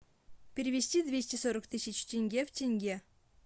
перевести двести сорок тысяч тенге в тенге